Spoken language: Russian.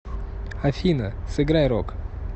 афина сыграй рог